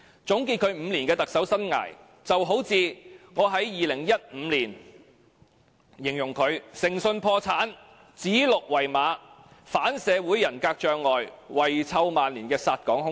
總結其5年的特首生涯，有如我在2015年形容他"誠信破產，指鹿為馬，反社會人格障礙，遺臭萬年的殺港兇手"。